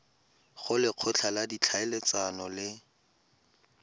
go lekgotla la ditlhaeletsano le